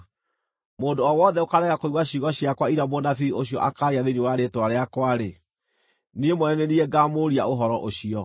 Mũndũ o wothe ũkaarega kũigua ciugo ciakwa iria mũnabii ũcio akaaria thĩinĩ wa rĩĩtwa rĩakwa-rĩ, niĩ mwene nĩ niĩ ngamũũria ũhoro ũcio.